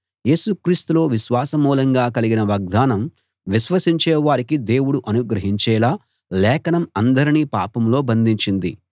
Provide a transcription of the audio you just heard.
యేసు క్రీస్తులో విశ్వాస మూలంగా కలిగిన వాగ్దానం విశ్వసించే వారికి దేవుడు అనుగ్రహించేలా లేఖనం అందరినీ పాపంలో బంధించింది